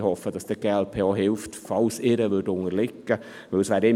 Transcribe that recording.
Ich hoffe, dass die glp, sollte sie mit der ihren unterliegen, trotzdem mithilft.